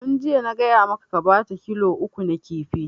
Tun jiya na gaya maka ka bata kilo uku na kifi!